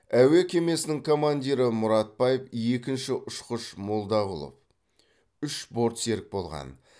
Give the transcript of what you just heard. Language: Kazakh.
әуе кемесінің командирі мұратбаев екінші ұшқыш молдағұлов үш борт серік болған